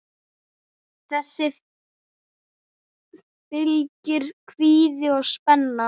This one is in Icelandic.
Þessu fylgir kvíði og spenna.